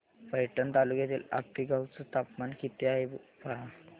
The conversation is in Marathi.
पैठण तालुक्यातील आपेगाव चं तापमान किती आहे पहा